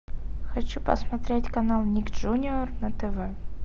хочу посмотреть канал ник джуниор на тв